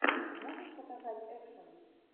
можешь показать экшен